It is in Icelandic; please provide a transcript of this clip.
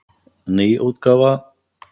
Ný útgáfa.